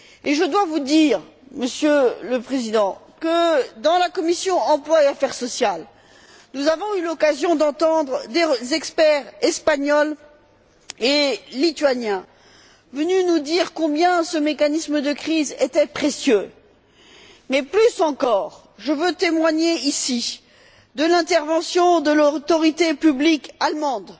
Je dois vous dire, Monsieur le Président, qu'à la commission de l'emploi et des affaires sociales, nous avons eu l'occasion d'entendre des experts espagnols et lituaniens venus nous dire combien ce mécanisme de crise était précieux. Mais, plus encore, je veux témoigner ici de l'intervention de l'autorité publique allemande.